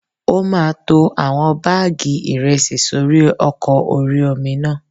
Ó máa to àwọn báàgì ìrẹsì sórí ọkọ̀ orí-omi náà